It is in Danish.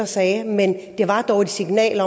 sagde men det var dog et signal